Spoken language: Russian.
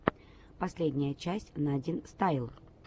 последняя часть надинстайл